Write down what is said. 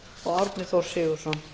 og árni þór sigurðsson